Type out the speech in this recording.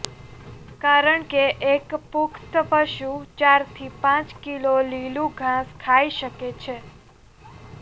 કારણ કે એક પુખ્ત પશુ ચાર થી પાંચ કિલો લીલુ ઘાસ ખાઇ શકે છે